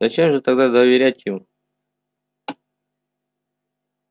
зачем же тогда доверять ему